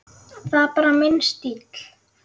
Það er bara minn stíll.